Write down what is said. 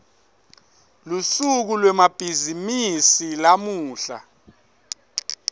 lusuku lwemabhizimisi lamuhla